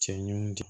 Cɛ ɲinnu